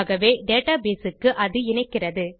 ஆகவே டேட்டாபேஸ் க்கு அது இணைக்கிறது